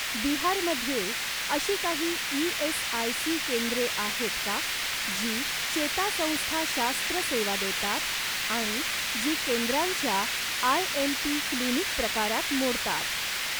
बिहार मध्ये अशी काही ई.एस.आय.सी केंद्रे आहेत का जी चेतासंस्थाशास्त्र सेवा देतात आणि जी केंद्रांच्या आयएमपी क्लिनिक प्रकारात मोडतात?